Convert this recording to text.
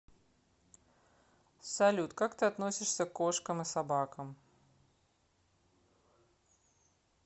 салют как ты относишься к кошкам и собакам